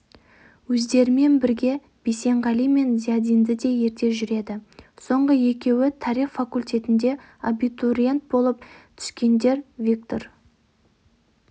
өздерімен бірге бейсенғали мен зиядинді де ерте жүреді соңғы екеуі тарих факультетіне абитуриент болып түскендер виктор